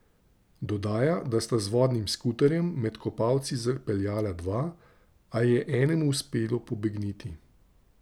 Dodaja, da sta z vodnim skuterjem med kopalci zapeljala dva, a je enemu uspelo pobegniti.